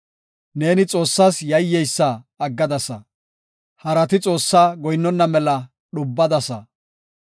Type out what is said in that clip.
Neeni Xoossas yayyeysa aggadasa; harati Xoossaa goyinnona mela dhubbadasa.